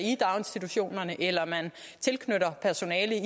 i daginstitutionerne eller knytter personale